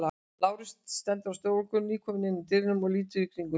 Lárus stendur á stofugólfinu, nýkominn inn úr dyrunum og lítur í kringum sig.